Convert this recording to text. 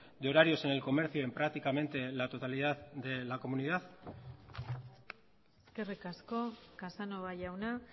de horarios en el comercio en prácticamente la totalidad de la comunidad eskerrik asko casanova jauna